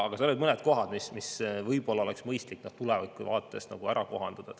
Aga seal olid mõned kohad, mida võib-olla oleks mõistlik tuleviku mõttes kohendada.